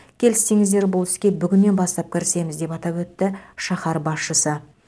келіссеңіздер бұл іске бүгіннен бастап кірісеміз деп атап өтті шаһар басшысы